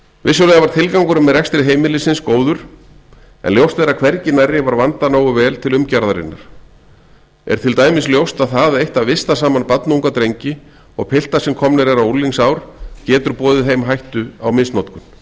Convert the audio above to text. vissulega var tilgangurinn með rekstri heimilisins góður en ljóst er að hvergi nærri var vandað nógu vel til umgjarðarinnar er til dæmis ljóst að það eitt að vista saman barnunga drengi og pilta sem komnir eru á unglingsár getur boðið heim hættu á misnotkun